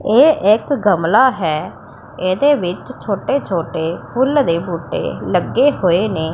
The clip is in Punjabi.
ਇਹ ਇੱਕ ਗਮਲਾ ਹੈ ਇਹਦੇ ਵਿੱਚ ਛੋਟੇ ਛੋਟੇ ਫੁੱਲ ਦੇ ਬੂਟੇ ਲੱਗੇ ਹੋਏ ਨੇ।